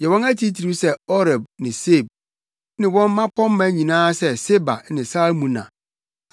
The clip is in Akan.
Yɛ wɔn atitiriw sɛ Oreb ne Seeb, ne wɔn mmapɔmma nyinaa sɛ Seba ne Salmuna,